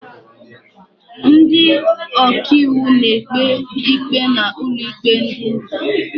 Ndị ọkàiwu na-ekpe ikpe n'ụlọikpe dị nta.